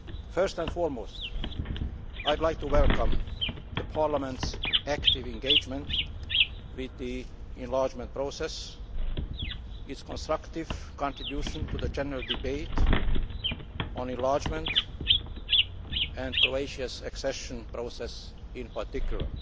First and foremost, I would like to welcome Parliament's active engagement with the enlargement process, and its constructive contribution to the general debate on enlargement and on Croatia's accession process in particular.